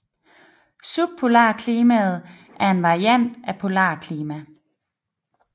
Subpolarklima er en variant af polarklima